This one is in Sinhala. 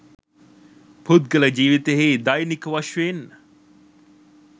පුද්ගල ජීවිතයෙහි දෛනික වශයෙන්